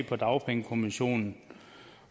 fra dagpengekommissionen